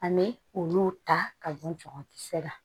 An bɛ olu ta ka bɔ jaba kisɛ la